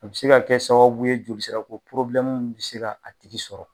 A be se ka kɛ sababu ye jolisira ko porobilɛmu bi se k'a tigi sɔrɔ